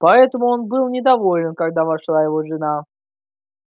поэтому он был недоволен когда вошла его жена